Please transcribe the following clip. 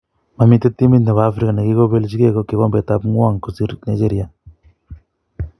mamite timit nebo Afrika nekikopejike kikombet ab ngwng kosir Nigeria